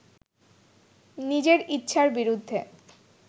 নিজের ইচ্ছার বিরুদ্ধে